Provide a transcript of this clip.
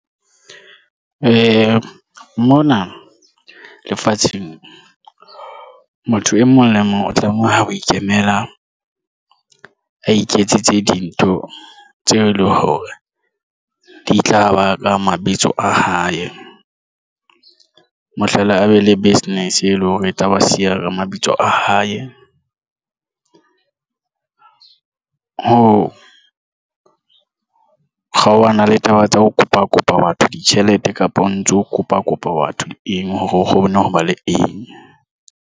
Mona lefatsheng motho e mong le mong o tlameha ho ikemela. A iketsetse dintho tseo e leng hore di tlaba ka mabitso a hae mohlala a be le business e leng hore tlaba siya mabitso a hae. Ho kgaohana le taba tsa ho kopa kopa batho ditjhelete kapa o ntso kopa kopa batho eng hore o kgone ho ba le eng.